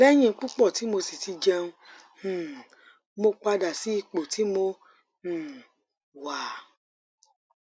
lẹyìn pupọ̀ tí mo sì ti jẹun um mo padà sí ipò tí mo um wà